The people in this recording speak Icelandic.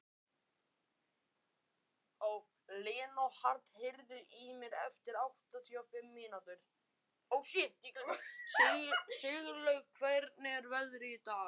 Sigurlaug, hvernig er veðrið í dag?